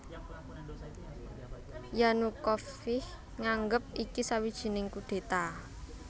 Yanukovych nganggep iki sawijining kudéta